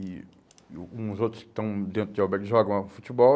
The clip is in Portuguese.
E alguns outros que estão dentro de albergue jogam futebol.